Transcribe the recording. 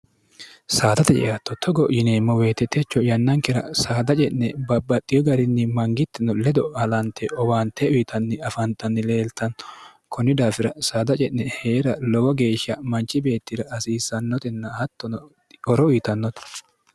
saadate ceatto togo yineemmo weetetecho yannankira saada ce'ne babbaxiyo garinni mangittino ledo alante owaante uyitanni afaantanni leeltanno kunni daafira saada ce'ne hee'ra lowo geeshsha manchi beettira hasiissannotenna hattono horo uyitannote